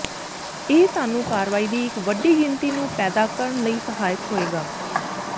ਇਹ ਸਾਨੂੰ ਕਾਰਵਾਈ ਦੀ ਇੱਕ ਵੱਡੀ ਗਿਣਤੀ ਨੂੰ ਪੈਦਾ ਕਰਨ ਲਈ ਸਹਾਇਕ ਹੋਵੇਗਾ